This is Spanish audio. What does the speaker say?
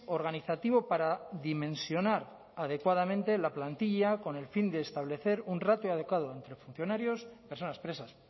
organizativo para dimensionar adecuadamente la plantilla con el fin de establecer un ratio adecuado entre funcionarios y personas presas